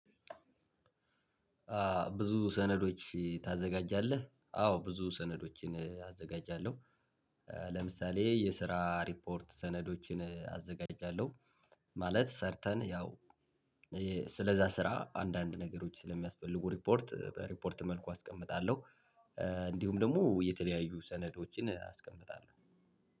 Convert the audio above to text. ብዙ ሰነዶች ታዘጋጃለህ አዎ ብዙ ሰነዶችን አዘጋጃለሁ። ለምሳሌ የስራ ሪፖርት ሰነዶችን አዘጋጃለሁ። ማለት ሰርተን ያው ስለዛ ስራ አንዳንድ ነገሮች ስለሚያስፈልጉ ሪፖርት በሪፖርት መልኩ አስቀምጣለሁ። እንዲሁም ደግሞ የተለያዩ ሰነዶችን አስቀምጣለሁ።